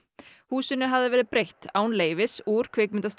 húsinu hafði verið breytt án leyfis úr